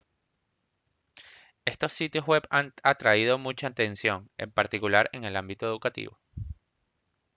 estos sitios web han atraído mucha atención en particular en el ámbito educativo